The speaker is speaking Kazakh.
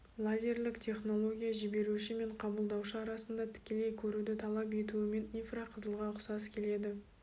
лазерлік технология жіберуші мен қабылдаушы арасында тікелей көруді талап етуімен инфрақызылға ұқсас келеді